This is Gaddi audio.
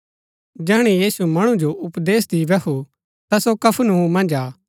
जैहणै यीशु मणु जो उपदेश दी बैहु ता सो कफरनहूम मन्ज आ